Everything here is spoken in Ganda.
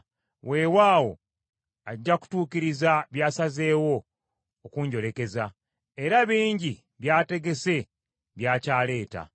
Weewaawo ajja kutuukiriza by’asazzeewo okunjolekeza, era bingi byategese by’akyaleeta.